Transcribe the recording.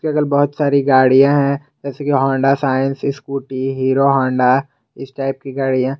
इधर बहुत सारी गाड़ियां है जैसे कि Honda Shine Scooty Hero Honda इस टाइप की गाड़ियां।